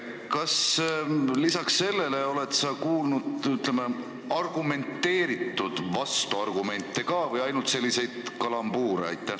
Kas sa oled kuulnud, ütleme, ka argumenteeritud vastuargumente või ainult selliseid kalambuure?